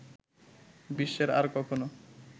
বিশ্বের আর কখনো